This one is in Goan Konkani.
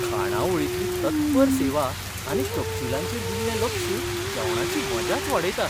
खाणावळींतली तत्पर सेवा आनी तपशीलांचेर दिल्लें लक्ष जेवणाची मजाच वाडयता.